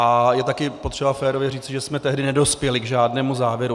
A je taky potřeba férově říci, že jsme tehdy nedospěli k žádnému závěru.